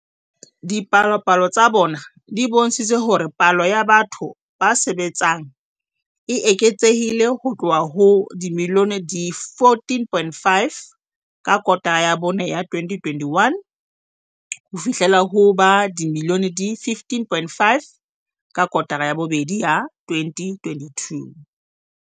Dipalopalo tsa bona di bontshitse hore palo ya batho ba sebetsang e eketsehile ho tloha ho ba dimilione di 14.5 ka kotara ya bone ya 2021 ho fihlela ho ba dimilione di 15.5 ka kotara ya bobedi ya 2022.